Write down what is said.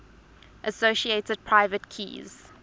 associated private keys